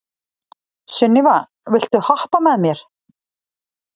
Sunníva, viltu hoppa með mér?